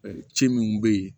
ci minnu bɛ yen